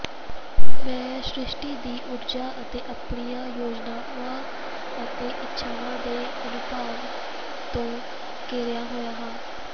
ਮੈਂ ਸ੍ਰਿਸ਼ਟੀ ਦੀ ਊਰਜਾ ਅਤੇ ਆਪਣੀਆਂ ਯੋਜਨਾਵਾਂ ਅਤੇ ਇੱਛਾਵਾਂ ਦੇ ਅਨੁਭਵ ਤੋਂ ਘਿਰਿਆ ਹੋਇਆ ਹਾਂ